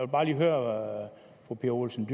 bare lige høre fru pia olsen